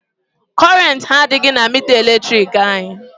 Kọrentị adịghị na mita eletrik anyị.